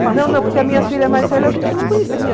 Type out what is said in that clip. Não, não porque a minha filha mais velha a gente não conhecia.